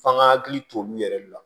F'an ka hakili to olu yɛrɛ le la